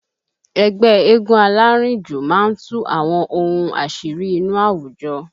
Ẹgbẹ́ eégún alárìnjò máa ń tú àwọn ohun àṣírí inú àwùjọ